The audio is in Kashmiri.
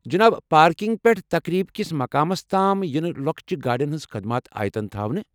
جناب، پارکنگ پٮ۪ٹھ تقریب کِس مقامَس تام یِنہِ لۄکچَن گاڑٮ۪ن ہِنٛز خدمات آیتن تھاونہٕ ۔